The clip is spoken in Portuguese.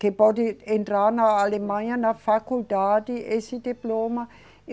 Que pode entrar na Alemanha na faculdade, esse diploma.